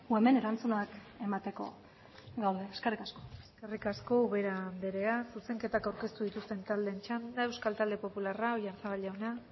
hemen erantzunak emateko gaude eskerrik asko eskerrik asko ubera andrea zuzenketak aurkeztu dituzten taldeen txanda euskal talde popularra oyarzabal jauna